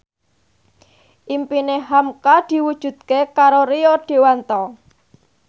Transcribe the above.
impine hamka diwujudke karo Rio Dewanto